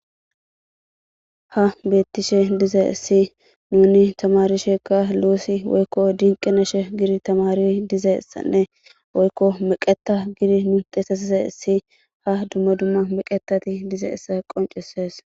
Ha beettishe dize issi nuni tamari sheeka luusi woykko dinqena she gidi tamari dize issanne woykko meqeta gidi nu teesesise issi ha dumma dumma meqetati dize issa qoncesees.